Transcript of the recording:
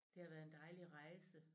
Det har været en dejlig rejse